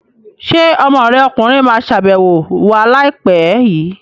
Ṣé ọmọ rẹ ọkùnrin ma wá ṣàbẹ̀wọ̀ wa láìpẹ́ l?